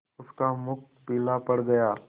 उसका मुख पीला पड़ गया